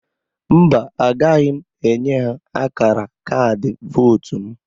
Mba, agaghị m enye ha akara kaadị vootu m.